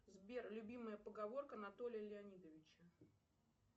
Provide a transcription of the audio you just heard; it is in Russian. сбер любимая поговорка анатолия леонидовича